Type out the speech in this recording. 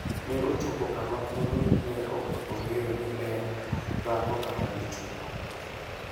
Ne ochopo kama koro ne ok ong'eyo ni en dhako kata dichwo.